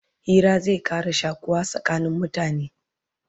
Hira zai Ƙara shakuwa tsakanin mutane